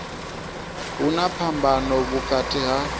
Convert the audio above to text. hu na phambano vhukati ha